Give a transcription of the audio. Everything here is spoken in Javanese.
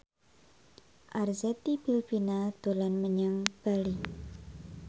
Arzetti Bilbina dolan menyang Bali